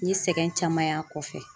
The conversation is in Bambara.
N ye sɛgɛn caman y'a kɔfɛ.